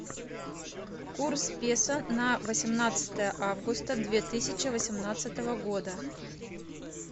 курс песо на восемнадцатое августа две тысячи восемнадцатого года